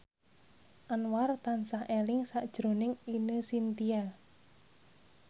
Anwar tansah eling sakjroning Ine Shintya